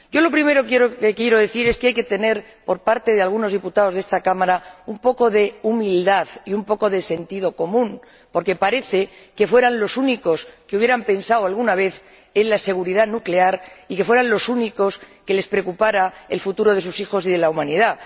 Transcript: Lo primero que quiero decir es que hay que tener, por parte de algunos diputados de esta Cámara, un poco de humildad y un poco de sentido común, porque parece que fueran los únicos que hubieran pensado alguna vez en la seguridad nuclear y los únicos a quienes les preocupara el futuro de sus hijos y de la Humanidad.